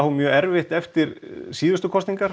mjög erfitt eftir síðustu kostningar